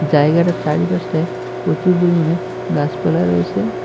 জায়গাটার চারিপাশটায় প্রচুর পরিমাণে গাসপালা রয়েসে।